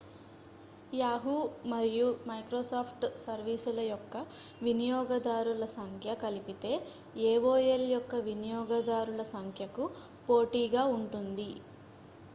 yahoo మరియు microsoft సర్వీస్ల యొక్క వినియోగదారుల సంఖ్య కలిపితే aol యొక్క వినియోగదారుల సంఖ్యకు పోటీగా ఉంటుంది